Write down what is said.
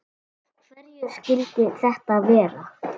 Af hverju skyldi þetta vera?